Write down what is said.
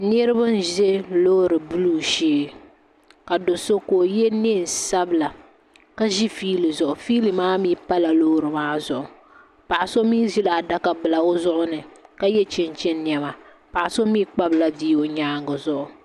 niraba n ʒi loori buluu shee ka do so ka o yɛ neen sabila ka ʒi fiili zuɣu fiili maa mii pala loori maa zuɣu paɣa so mii ʒila adaka bila o zuɣu ni ka yɛ chinchin niɛma paɣa so mii kpabila bia o nyaangi zuɣu